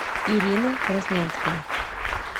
ирина краснянская